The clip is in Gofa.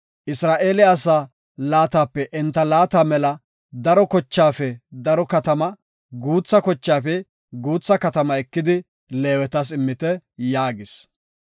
Isra7eele asaa laatape enta laata mela daro kochaafe daro katama, guutha kochaafe guutha katama ekidi Leewetas immite” yaagis.